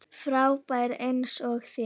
Frábær eins og þér.